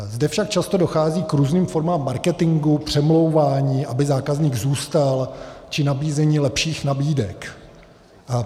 Zde však často dochází k různým formám marketingu, přemlouvání, aby zákazník zůstal, či nabízení lepších nabídek.